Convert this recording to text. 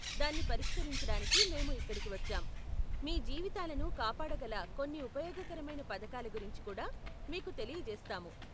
దాన్ని పరిష్కరించడానికి మేము ఇక్కడికి వచ్చాం, మీ జీవితాలను కాపాడగల కొన్ని ఉపయోగకరమైన పథకాల గురించి కూడా మీకు తెలియజేస్తాము.